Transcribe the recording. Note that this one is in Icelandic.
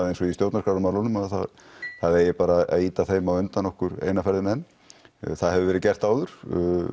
eins og í stjórnarskrármálinu að það eigi bara að ýta þeim á undan okkur eina ferðina enn það hefur verið gert áður